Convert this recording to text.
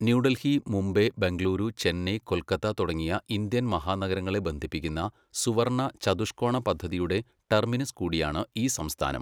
ന്യൂഡൽഹി, മുംബൈ, ബെംഗളൂരു, ചെന്നൈ, കൊൽക്കത്ത തുടങ്ങിയ ഇന്ത്യൻ മഹാനഗരങ്ങളെ ബന്ധിപ്പിക്കുന്ന സുവർണ്ണ ചതുഷ്കോണ പദ്ധതിയുടെ ടെർമിനസ് കൂടിയാണ് ഈ സംസ്ഥാനം.